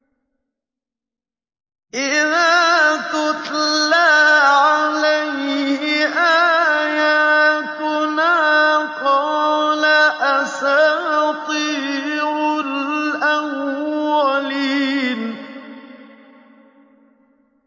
إِذَا تُتْلَىٰ عَلَيْهِ آيَاتُنَا قَالَ أَسَاطِيرُ الْأَوَّلِينَ